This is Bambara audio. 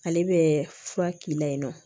Ale bɛ fura k'i la yen nɔ